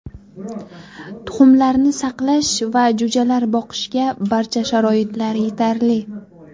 Tuxumlarni saqlash va jo‘jalar boqishga barcha sharoitlar yetarli.